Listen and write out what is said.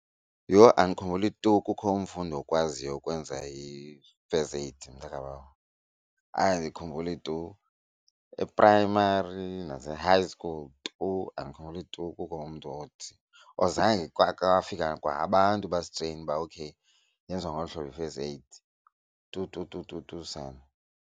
Yho! Andikhumbuli tu kukho umfundi okwaziyo ukwenza i-first aid mntakabawo, hayi andikhumbuli tu. E-primary nase-high school tu andikhumbuli tu kukho umntu othi or zange kwafika kwa abantu basitreyina uba okay yenziwa ngolu hlobo i-first aid tu tu tu tu tu sana.